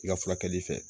I ka furakɛli fɛ